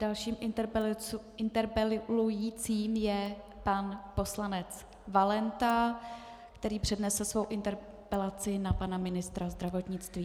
Dalším interpelujícím je pan poslanec Valenta, který přednese svou interpelaci na pana ministra zdravotnictví.